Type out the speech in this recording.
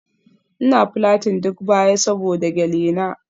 Ina plating duk baya saboda gele na.